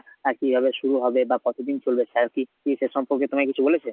আর কিভাবে শুরু হবে বা কতদিন চলবে sir কি কি সে সম্পর্কে তোমাকে কিছু বলেছে?